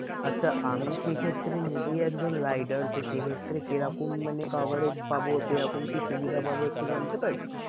আমি সে ক্ষেত্রে নিজেই একজন rider তো সে ক্ষেত্রে কেরকম মানে coverage পাবো? কেরকম কি সুবিধা পাবো একটু জানতে পারি?